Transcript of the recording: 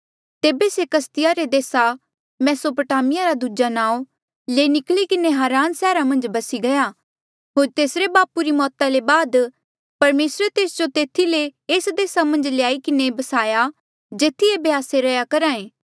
तेबे से कसदिया रे देसा मेसोपोटामिया रा दूजा नाऊँ ले निकली किन्हें हारान सैहरा मन्झ बसी गया होर तेसरे बापू री मौता ले बाद परमेसरे तेस जो तेथी ले एस देसा मन्झ ल्याई किन्हें बसाया जेथी एेबे आस्से रैंहयां करहा ऐें